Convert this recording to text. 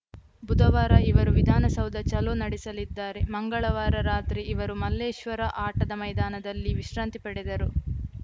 ಬುಧವಾರ ಇವರು ವಿಧಾನಸೌಧ ಚಲೋ ನಡೆಸಲಿದ್ದಾರೆ ಮಂಗಳವಾರ ರಾತ್ರಿ ಇವರು ಮಲ್ಲೇಶ್ವರ ಆಟದ ಮೈದಾನದಲ್ಲಿ ವಿಶ್ರಾಂತಿ ಪಡೆದರು